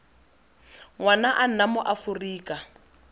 ngwana a nna mo aforika